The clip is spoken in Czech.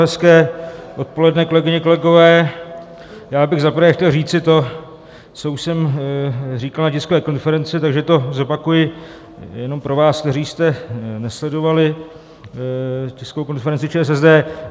Hezké odpoledne, kolegyně, kolegové, já bych za prvé chtěl říci to, co už jsem říkal na tiskové konferenci, takže to zopakuji jenom pro vás, kteří jste nesledovali tiskovou konferenci ČSSD.